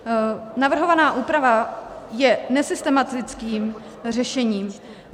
Navrhovaná úprava je nesystematickým řešením.